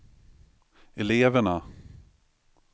eleverna